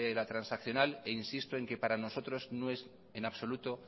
la transaccional e insisto en que para nosotros no es en absoluto